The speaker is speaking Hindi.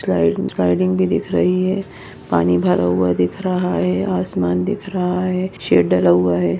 स्लाइड स्लाइडिंग भी दिख रही है पानी भरा हुआ दिख रहा है आसमान दिख रहा है शेड डला हुआ है।